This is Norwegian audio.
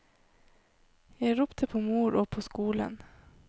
Jeg ropte på mor og på skolen.